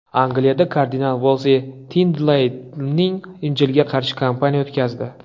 Angliyada kardinal Volsi Tindeylning Injiliga qarshi kampaniya o‘tkazdi.